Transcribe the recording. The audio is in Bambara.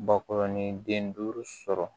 Bakɔrɔnin den duuru sɔrɔ